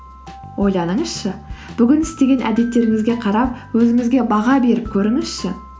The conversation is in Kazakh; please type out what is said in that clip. ойланыңызшы бүгін істеген әдеттеріңізге қарап өзіңізге баға беріп көріңізші